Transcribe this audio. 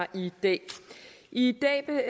i dag i dag